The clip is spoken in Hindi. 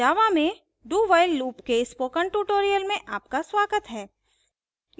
java में dowhile loop के spoken tutorial में आपका स्वागत है